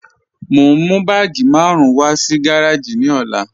Mo n mú bàágí márùn wà sí gàràjì ní òlà.